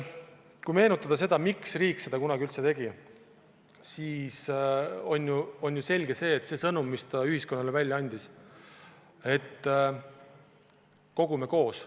Kui meenutada seda, miks riik seda kunagi üldse tegi, siis on ju selge, et see sõnum, mis ta ühiskonnale välja andis, oli see, et kogume koos.